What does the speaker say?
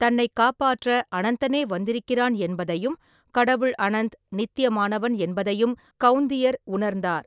தன்னைக் காப்பாற்ற அனந்தனே வந்திருக்கிறான் என்பதையும், கடவுள் அனந்த், நித்தியமானவன் என்பதையும் கௌந்தியர் உணர்ந்தார்.